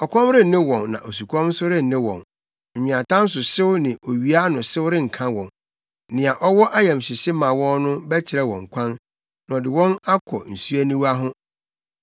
Ɔkɔm renne wɔn na osukɔm nso renne wɔn; nweatam so hyew ne owia ano hyew renka wɔn, nea ɔwɔ ayamhyehye ma wɔn no bɛkyerɛ wɔn kwan na ɔde wɔn akɔ nsuaniwa ho.